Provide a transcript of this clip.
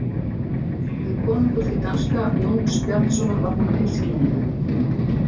spurði konungur því danska Jóns Bjarnasonar var honum illskiljanleg.